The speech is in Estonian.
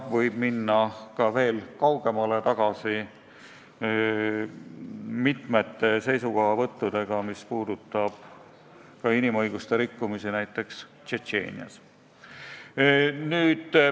Võib minna veel kaugemale tagasi, mitmete seisukohavõttude juurde, mis puudutasid inimõiguste rikkumisi näiteks Tšetšeenias.